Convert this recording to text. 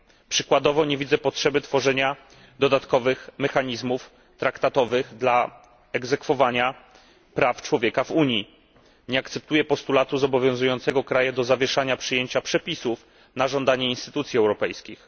Przykładowo, nie widzę potrzeby tworzenia dodatkowych mechanizmów traktatowych dla egzekwowania praw człowieka w Unii. Nie akceptuję postulatu zobowiązującego kraje do zawieszania przyjęcia przepisów na żądanie instytucji europejskich.